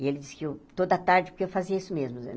E ele disse que eu... Toda tarde, porque eu fazia isso mesmo.